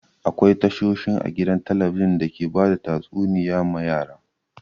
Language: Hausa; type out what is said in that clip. Akwai tashoshin a gidan talabijin da ke bada tatsuniya ma yara.